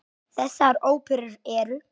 Þessar óperur eru